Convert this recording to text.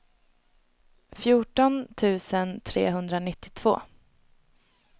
fjorton tusen trehundranittiotvå